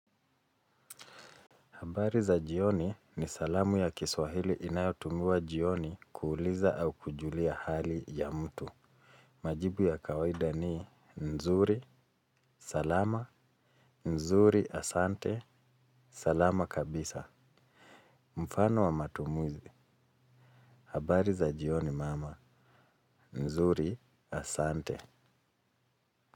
Habari za jioni ni salamu ya kiswahili inayotumiwa jioni kuuliza au kujulia hali ya mtu. Majibu ya kawaida ni nzuri, salama, nzuri asante, salama kabisa. Mfano wa matumizi. Habari za jioni mama, nzuri asante.